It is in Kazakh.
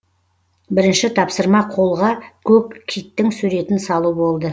бірінші тапсырма қолға көк киттің суретін салу болды